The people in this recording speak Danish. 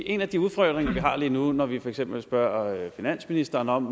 en af de udfordringer vi har lige nu når vi for eksempel spørger finansministeren om